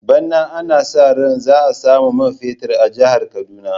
Bana ana sa ran za a samu man fetur a jihar Kaduna.